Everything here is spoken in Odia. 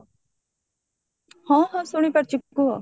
ହଁ ହଁ ଶୁଣି ପାରୁଚି କୁହ